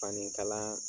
Fani kala